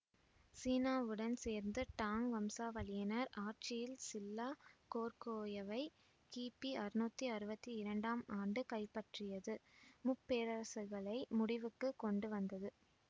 சீனாவுடன் சேர்ந்து டாங் வம்சாவளியினர் ஆட்சியில் சில்லா கோர்கோயவை கிபி அறுநூத்தி அறுவத்தி இரண்டாம் ஆண்டு கைப்பற்றியது முப்பேரரசுகளை முடிவுக்கு கொண்டு வந்தது